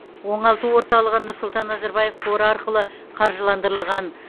оңалту орталығы нұрсұлтан назарбаев қоры арқылы қаржыландырылған